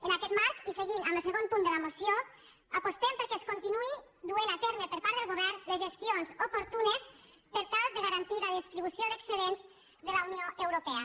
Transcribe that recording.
en aquest marc i seguint amb el segon punt de la moció apostem perquè es continuïn duent a terme per part del govern les gestions oportunes per tal de garantir la distribució d’excedents de la unió europea